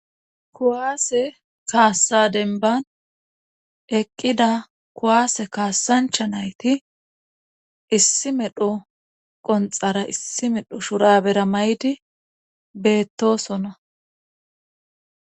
kuwaase kaassa denban eqqida kuwaase kaassancha nayti issi medho qonxara issi medho shurabera maydi beettosona